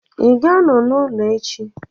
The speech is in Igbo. Ị ga-anọ n'ụlọ echi?